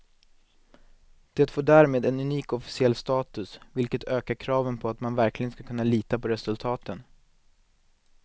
Det får därmed en unik officiell status, vilket ökar kraven på att man verkligen ska kunna lita på resultaten.